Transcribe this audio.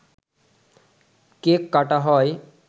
cake কাটা হয়